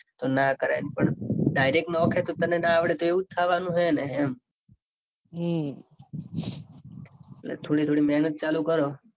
ના કરાય એમ પણ direct નોખે તો તને નો આવડે તો એવું જ થવાનું હેને એમ હમ એટલે થોડી થોડી મેહનત ચાલુ કરો.